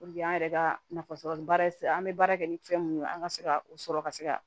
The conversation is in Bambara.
an yɛrɛ ka nafasɔrɔ bara an bɛ baara kɛ ni fɛn mun ye an ka se ka o sɔrɔ ka se ka